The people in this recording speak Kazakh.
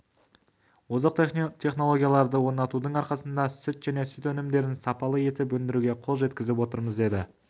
озық технологияларды орнатудың арқасында сүт және сүт өнімдерін сапалы етіп өндіруге қол жеткізіп отырмыз деді